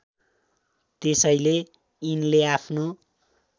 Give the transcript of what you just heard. त्यसैले यिनले आफ्नो